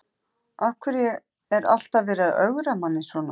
Af hverju er alltaf verið að ögra manni svona?